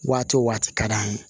Waati o waati ka d'an ye